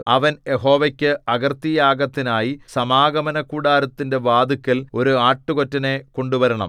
അവൻ യഹോവയ്ക്ക് അകൃത്യയാഗത്തിനായി സമാഗമനകൂടാരത്തിന്റെ വാതില്ക്കൽ ഒരു ആട്ടുകൊറ്റനെ കൊണ്ടുവരണം